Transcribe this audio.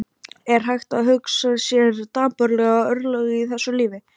Er hægt að hugsa sér dapurlegri örlög í þessu lífi?